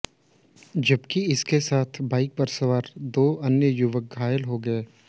जबकि उसके साथ बाइक पर सवार दो अन्य युवक घायल हो गए